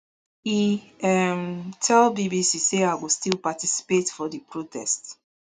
e um tell bbc say i go still participate for di protest